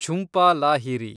Jhumpa Lahiri